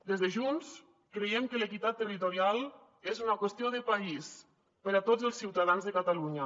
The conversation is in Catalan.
des de junts creiem que l’equitat territorial és una qüestió de país per a tots els ciutadans de catalunya